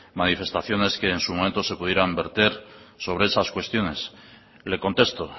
manifestaciones que en su momento se pudieran verter sobre esas cuestiones le contesto